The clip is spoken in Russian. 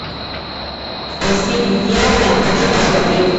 в постели с дьяволом хочу посмотреть